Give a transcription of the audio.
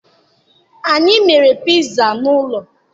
Anyị mere piza n'ụlọ